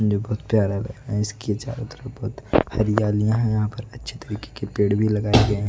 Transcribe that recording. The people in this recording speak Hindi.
ये बहुत प्यारा लग रहा है इसके चारों तरफ बहुत हरियालियां हैं यहां पर अच्छे तरीके के पेड़ भी लगाए गए हैं।